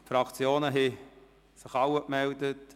Es haben sich alle Fraktionen gemeldet.